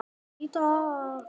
Knús til þín, kæri vinur.